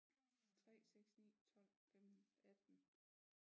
3 6 9 12 15 18